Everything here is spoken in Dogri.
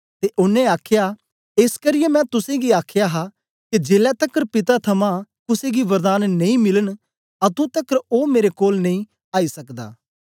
ते ओनें आख्या एस करियै मैं तुसेंगी आख्या हा के जेलै तकर पिता थमां कुसे गी वरदान नेई मिलन अतुं तकर ओ मेरे कोल नेई आई सकदा